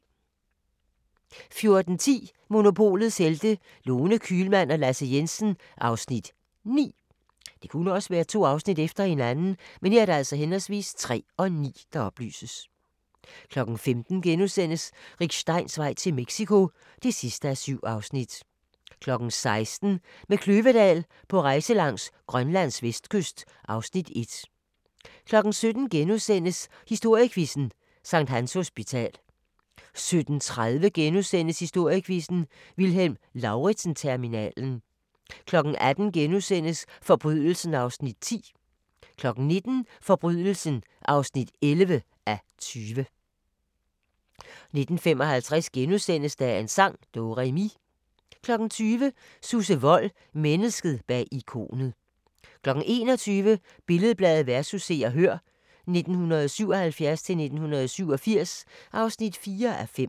14:10: Monopolets Helte – Lone Kühlmann og Lasse Jensen (Afs. 9) 15:00: Rick Steins vej til Mexico (7:7)* 16:00: Med Kløvedal på rejse langs Grønlands vestkyst (Afs. 1) 17:00: Historiequizzen: Sct. Hans Hospital * 17:30: Historiequizzen: Vilhelm Lauritzen-terminalen * 18:00: Forbrydelsen (10:20)* 19:00: Forbrydelsen (11:20) 19:55: Dagens sang: Do-re-mi * 20:00: Susse Wold – Mennesket bag ikonet 21:00: Billed-Bladet vs. Se og Hør (1977-1987) (4:5)